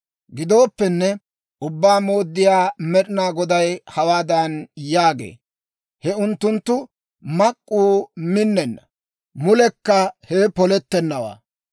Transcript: Gidooppenne, Ubbaa Mooddiyaa Med'inaa Goday hawaadan yaagee; «He unttunttu mak'k'uu minnenna; mulekka hewe polettennawaa.